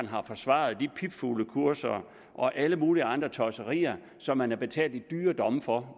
har forsvaret de pipfuglekurser og alle mulige andre tosserier som man har betalt i dyre domme for